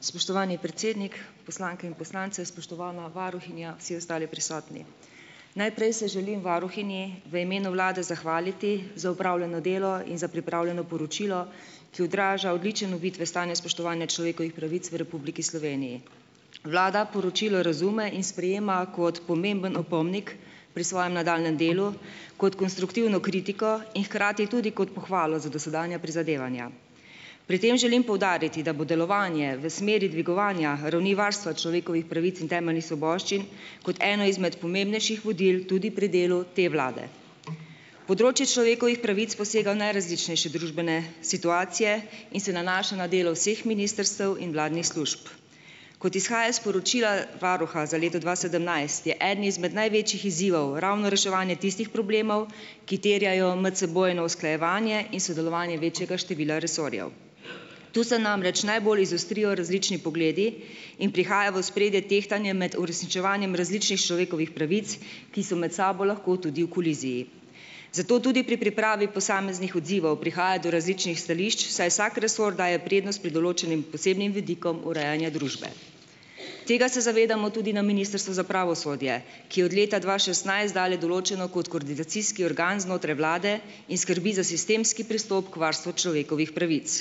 Spoštovani predsednik, poslanke in poslanci! Spoštovana varuhinja, vsi ostali prisotni! Najprej se želim varuhinji v imenu vlade zahvaliti za opravljeno delo in za pripravljeno poročilo, ki odraža odličen uvid v stanje spoštovanja človekovih pravic v Republiki Sloveniji. Vlada poročilo razume in sprejema kot pomemben opomnik pri svojem nadaljnjem delu kot konstruktivno kritiko in hkrati tudi kot pohvalo za dosedanja prizadevanja. Pri tem želim poudariti, da bo delovanje v smeri dvigovanja ravni varstva človekovih pravic in temeljnih svoboščin kot eno izmed pomembnejših vodil tudi pri delu te vlade. Področje človekovih pravic posega v najrazličnejše družbene situacije in se nanaša na delo vseh ministrstev in vladnih služb. Kot izhaja iz poročila varuha za leto dva sedemnajst je eden izmed največjih izzivov ravno reševanje tistih problemov, ki terjajo medsebojno usklajevanje in sodelovanje večjega števila resorjev. Tu se namreč najbolj izostrijo različni pogledi in prihaja v ospredje tehtanje med uresničevanjem različnih človekovih pravic, ki so med sabo lahko tudi v koliziji. Zato tudi pri pripravi posameznih odzivov prihaja do različnih stališč, saj vsak resor daje prednost pri določenim posebnim vidikom urejanja družbe. Tega se zavedamo tudi na ministrstvu za pravosodje, ki od leta dva šestnajst dalje določeno kot koordinacijski organ znotraj vlade in skrbi za sistemski pristop k varstvu človekovih pravic.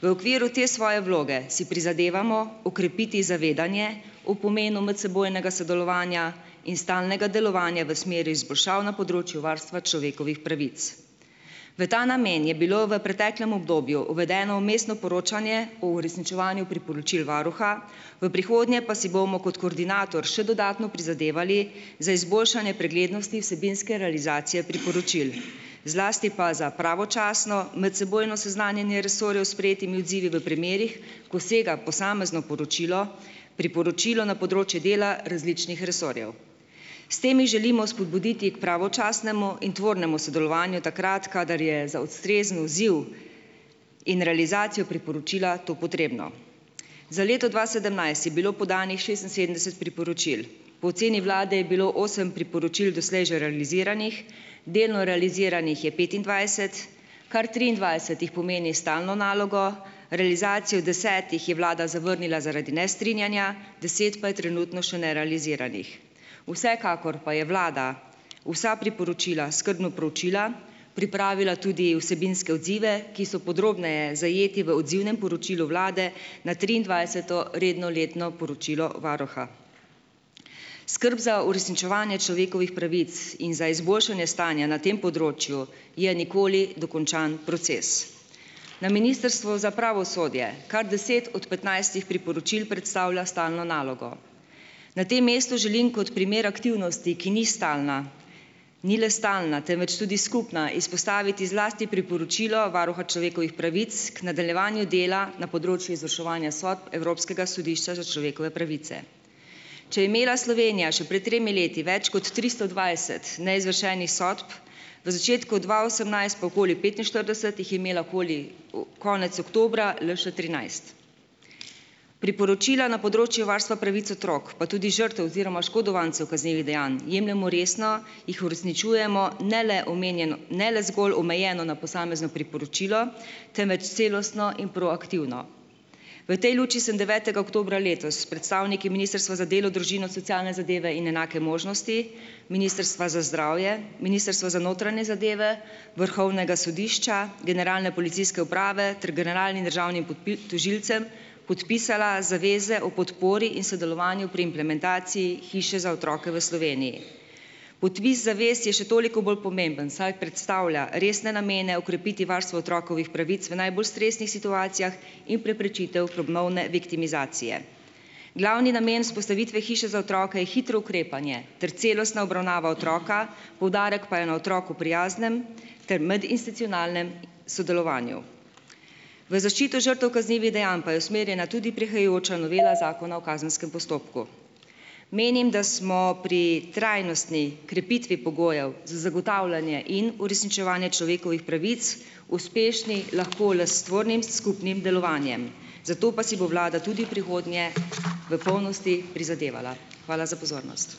V okviru te svoje vloge si prizadevamo okrepiti zavedanje o pomenu medsebojnega sodelovanja in stalnega delovanja v smeri izboljšav na področju varstva človekovih pravic. V ta namen je bilo v preteklem obdobju uvedeno vmesno poročanje o uresničevanju priporočil varuha, v prihodnje pa si bomo kot koordinator še dodatno prizadevali za izboljšanje preglednosti vsebinske realizacije priporočil, zlasti pa za pravočasno medsebojno seznanjanje resorjev s sprejetimi odzivi v premerih, ko sega posamezno poročilo, priporočilo na področje dela različnih resorjev. S tem želimo spodbuditi k pravočasnemu in tvornemu sodelovanju takrat, kadar je za ustrezen odziv in realizacijo priporočila to potrebno. Za leto dva sedemnajst je bilo podanih šestinsedemdeset priporočil. Po oceni vlade je bilo osem priporočil doslej že realiziranih, delno realiziranih je petindvajset, kar triindvajset jih pomeni stalno nalogo, realizacijo desetih je vlada zavrnila zaradi nestrinjanja, deset pa je trenutno še nerealiziranih. Vsekakor pa je vlada vsa priporočila skrbno proučila, pripravila tudi vsebinske odzive, ki so podrobneje zajeti v odzivnem poročilu vlade na triindvajseto redno letno poročilo varuha. Skrb za uresničevanje človekovih pravic in za izboljšanje stanja na tem področju je nikoli dokončan proces. Na ministrstvu za pravosodje kar deset od petnajstih priporočil predstavlja stalno nalogo. Na tem mestu želim kot primer aktivnosti, ki ni stalna - ni le stalna, temveč tudi skupna - izpostaviti zlasti priporočilo varuha človekovih pravic ker nadaljevanju dela na področju izvrševanja sodb Evropskega sodišča za človekove pravice. Če je imela Slovenija še pred tremi leti več kot tristo dvajset neizvršenih sodb, v začetku dva osemnajst pa okoli petinštirideset, jih je imela okoli konec oktobra le še trinajst. Priporočila na področju varstva pravic otrok pa tudi žrtev oziroma oškodovancev kaznivih dejanj jemljemo resno, jih uresničujemo - ne le omenjeno, ne le zgolj omejeno na posamezno priporočilo, temveč celostno in proaktivno. V tej luči sem devetega oktobra letos s predstavniki ministrstva za delo, družino, socialne zadeve in enake možnosti, ministrstva za zdravje, ministrstva za notranje zadeve, vrhovnega sodišča, generalne policijske uprave ter generalnim državnim tožilcem podpisala zaveze o podpori in sodelovanju pri implementaciji hiše za otroke v Sloveniji. Podpis zavez je še toliko bolj pomemben, saj predstavlja resne namene okrepiti varstvo otrokovih pravic v najbolj stresnih situacijah in preprečitev ponovne viktimizacije. Glavni namen vzpostavitve hiše za otroke je hitro ukrepanje ter celostna obravnava otroka, poudarek pa je na otroku prijaznem ter medinstitucionalnem sodelovanju. V zaščito žrtev kaznivih dejanj pa je usmerjena tudi prihajajoča novela zakona o kazenskem postopku. Menim, da smo pri trajnostni krepitvi pogojev za zagotavljanje in uresničevanje človekovih pravic uspešni lahko le s tvornim skupnim delovanjem. Za to pa si bo vlada tudi v prihodnje v polnosti prizadevala. Hvala za pozornost.